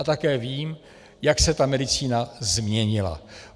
A také vím, jak se ta medicína změnila.